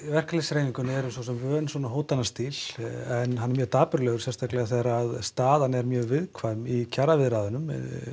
verkalýðshreyfingunni erum svo sem vön svona hótanna stíl en hann er mjög dapurlegur sérstaklega þegar staðan er mjög viðkvæm í viðræðunum